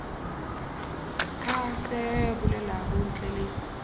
ka se bolelago ntle le